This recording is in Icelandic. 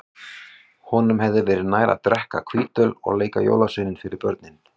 Honum hefði verið nær að drekka hvítöl og leika jólasvein fyrir börnin.